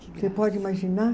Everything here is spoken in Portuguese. Você pode imaginar?